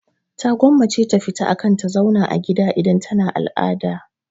Ta gwammace ta fita akan ta zauna a gida idan tana al'ada.